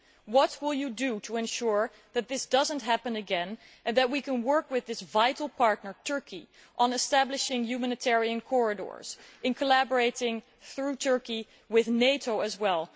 What will you do to ensure that this does not happen again and that we can work with this vital partner, Turkey, on establishing humanitarian corridors and in collaborating through Turkey with NATO as well?